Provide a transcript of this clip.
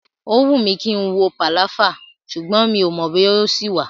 Ó wùn mí kí n wo pàláfà ṣùgbọ́n mi ò mọ̀ bóyá ó ṣì wà.